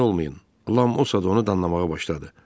Lam o saat onu danlamağa başladı.